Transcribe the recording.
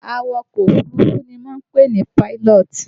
Awakọ̀ Òfurufú ni wọ́n ń pè ní pilot